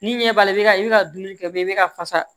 Ni ɲɛ b'a la i bi ka i bi ka dumuni kɛ i bi ka fasa